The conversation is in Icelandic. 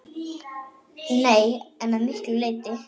Nei, en að miklu leyti.